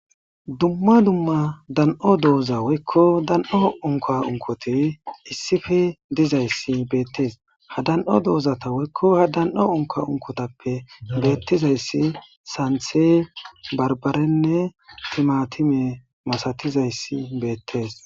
Duma duma dano dozza woyko dano unka unkkoti issippe dizaysi bettes ha dan'o dozati ha dan'o unkka unkkottappe bettizaysi santhe barbare timatime masatizayti bettes.